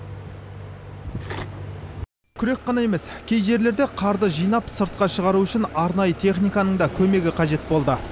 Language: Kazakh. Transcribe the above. күрек қана емес кей жерлерде қарды жинап сыртқа шығару үшін арнайы техниканың да көмегі қажет болды